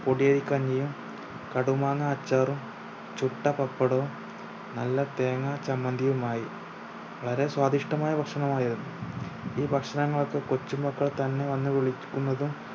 പൊടിയരിക്കഞ്ഞിയും കടുമാങ്ങ അച്ചാറും ചുട്ട പപ്പടവും നല്ല തേങ്ങാച്ചമ്മന്തിയുമായി വളരെ സ്വാദിഷ്ടമായ ഭക്ഷണം ആയിരുന്നു ഈ ഭക്ഷണങ്ങൾക്ക് കൊച്ചു മക്കൾ തന്നെ വന്ന് വിളിക്കുന്നതും